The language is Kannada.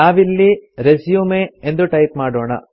ನಾವಿಲ್ಲಿ ರೆಸ್ಯೂಮ್ ಎಂದು ಟೈಪ್ ಮಾಡೋಣ